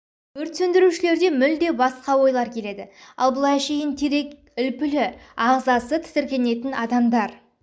өрт сөндірушілерде мүлде басқа ойлар келеді ал бұл әшейін емес терек үлпілі ағзасы тітіркенетін адамдар